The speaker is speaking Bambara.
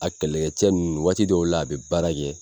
A kɛlɛkɛcɛ ninnu waati dɔw la, a be baara kɛ